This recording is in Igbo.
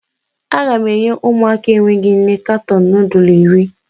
Aga m enye ụmụaka enweghị nne katọn nudul iri.